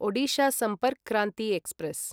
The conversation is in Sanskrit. ओडिशा सम्पर्क् क्रान्ति एक्स्प्रेस्